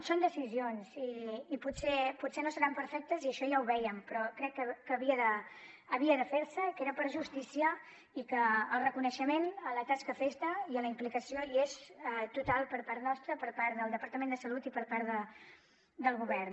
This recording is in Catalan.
són decisions i potser no seran perfectes i això ja ho vèiem però crec que havia de fer se era per justícia i que el reconeixement a la tasca feta i a la implicació hi és total per part nostra per part del departament de salut i per part del govern